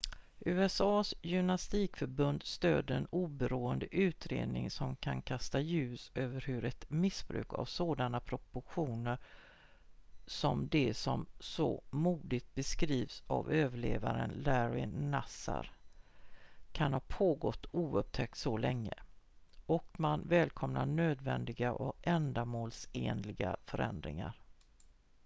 usa:s gymnastikförbund stöder en oberoende utredning som kan kasta ljus över hur ett missbruk av sådana proportioner som det som så modigt beskrivits av överlevaren larry nassar kan ha pågått oupptäckt så länge och man välkomnar nödvändiga och ändamålsenliga förändringar